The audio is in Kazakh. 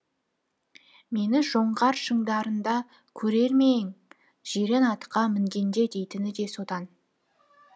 мені жоңғар шыңдарында көрер ме ең жирен атқа мінгенде дейтіні де содан